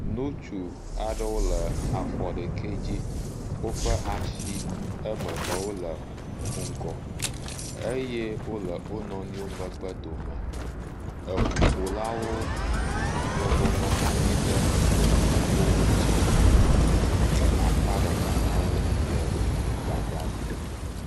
Nutsu aɖewo le afɔ ɖeke dzi. Woƒe ashi eme ve wole ŋgɔ. Eye wole wo nɔnɔewo megbe dome. Eŋuƒolawo bɔbɔ nɔ anyi ɖe eŋuƒoƒo ŋtsi le akpa ɖeka na wo le gbadzadzi